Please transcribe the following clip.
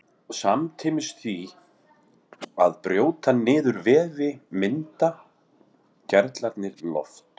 samtímis því að brjóta niður vefi mynda gerlarnir loft